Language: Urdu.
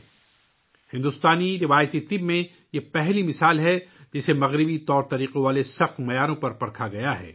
یہ پہلی مثال ہے کہ بھارتی روایتی ادویات کو مغربی طریقوں کے عین مطابق معیار پر آزمایا جا رہا ہے